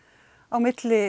milli